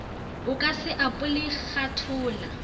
a ka se apole khathola